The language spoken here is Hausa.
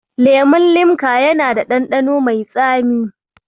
Lemon Limca yana da ɗanɗano mai tsami.